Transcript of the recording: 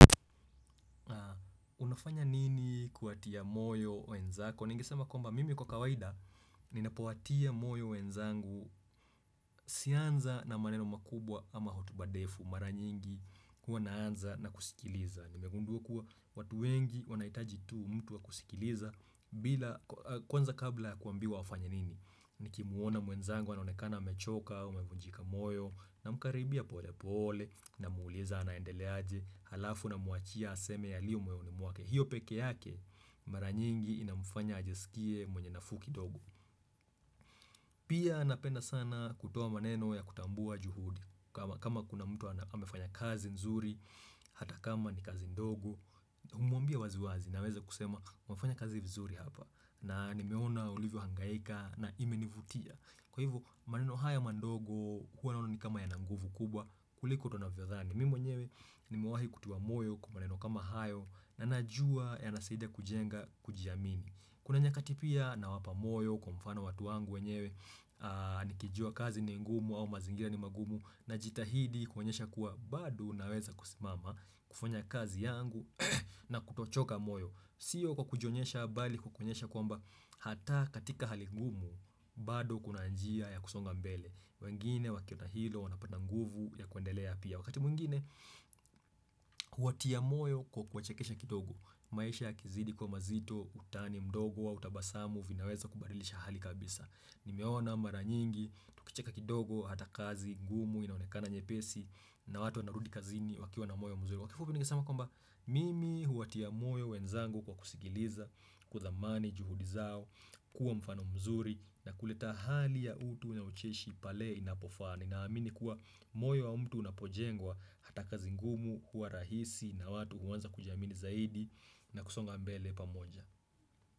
Unafanya nini kuwatia moyo wenzako? Ningesema kwamba mimi kwa kawaida ninapowatia moyo wenzangu sianza na maneno makubwa ama hutuba ndefu, mara nyingi huwa naanza na kusikiliza. Nimegundua kuwa watu wengi wanahitaji tu mtu wa kusikiliza bila kwanza kabla kuambiwa wafanye nini? Nikimuona mwenzangu anaonekana amechoka, amevunjika moyo, namkaribia pole pole namuuliza anaendelea aje, halafu namuwachia aseme yaliyo moyoni mwake. Hiyo pekee yake mara nyingi inamfanya ajisikie mwenye nafuu kidogo Pia napenda sana kutoa maneno ya kutambua juhudi kama kama kuna mtu amefanya kazi nzuri hata kama ni kazi ndogo Humwambia wazi wazi na aweze kusema wafanya kazi vizuri hapa. Na nimeona ulivyo hangaika na imenivutia. Kwa hivyo maneno haya madogo huwa naona ni kama yana nguvu kubwa kuliko tunavyodhani mimi mwenyewe nimewahi kutiwa moyo kwa maneno kama hayo na najua yanasaidia kujenga kujiamini Kuna nyakati pia nawapa moyo kwa mfano watu wangu wenyewe nikijua kazi ni ngumu au mazingira ni magumu najitahidi kuonyesha kuwa bado naweza kusimama kufanya kazi yangu na kutochoka moyo. Sio kwa kujionyesha bali kwa kuonyesha kwamba hata katika hali ngumu bado kuna njia ya kusonga mbele wengine wakiona hilo wanapata nguvu ya kuendelea pia, Wakati mwingine huwatia moyo kwa kuwachekesha kidogo maisha yakizidi kuwa mazito, utani mdogo au tabasamu vinaweza kubadilisha hali kabisa. Nimeona mara nyingi tukicheka kitodo hata kazi ngumu inaonekana nyepesi na watu wanarudi kazini wakiwa na moyo mzuri. Ningesema kwamba mimi huwatia moyo wenzangu kwa kusikiliza kudhamani juhudi zao, kuwa mfano mzuri na kuleta hali ya utu na ucheshi pale inapofaa ninaamini kuwa moyo wa mtu unapojengwa hata kazi ngumu huwa rahisi na watu huanza kujiamini zaidi na kusonga mbele pamoja.